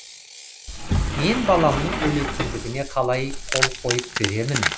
мен баламның өлетіндігіне қалай қол қойып беремін